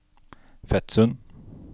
Fetsund